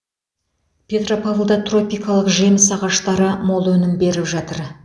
петропавлда тропикалық жеміс ағаштары мол өнім беріп жатыр